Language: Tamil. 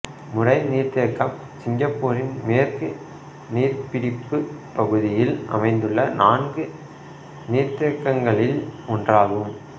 முறை நீர்த்தேக்கம் சிங்கப்பூரின் மேற்கு நீர்பிடிப்பு பகுதியில் அமைந்துள்ள நான்கு நீர்த்தேக்கங்களில் ஒன்றாகும்